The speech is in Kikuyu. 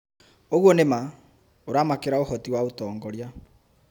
ũguo nĩ ma. ũramakĩra ũhoti wa ũtongoria.